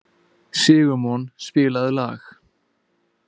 Sigurmon, spilaðu lag.